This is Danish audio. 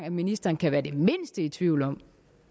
at ministeren kan være det mindste i tvivl om